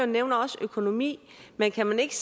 nævner også økonomi men kan man ikke